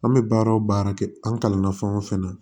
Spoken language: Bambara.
An bɛ baara o baara kɛ an kalanna fɛn o fɛn na